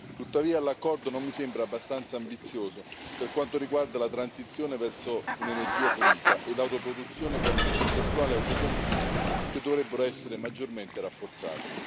Tuttavia, l'accordo non mi sembra abbastanza ambizioso per quanto riguarda la transizione verso un'energia pulita e l'autoproduzione con contestuale autoconsumo, che dovrebbero essere maggiormente rafforzati.